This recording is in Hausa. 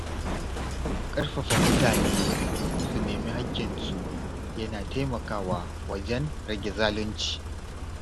Ƙarfafa mutane su nemi haƙƙinsu yana taimakawa wajen rage zalunci.